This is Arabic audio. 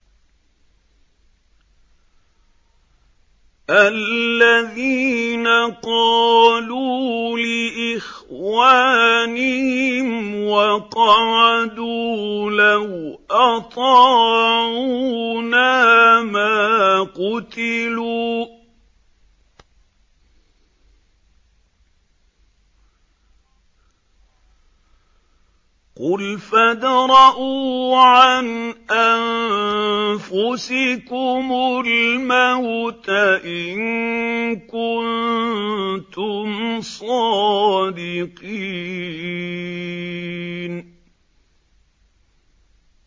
الَّذِينَ قَالُوا لِإِخْوَانِهِمْ وَقَعَدُوا لَوْ أَطَاعُونَا مَا قُتِلُوا ۗ قُلْ فَادْرَءُوا عَنْ أَنفُسِكُمُ الْمَوْتَ إِن كُنتُمْ صَادِقِينَ